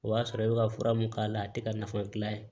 O y'a sɔrɔ e bɛ ka fura mun k'a la a tɛ ka nafa gilan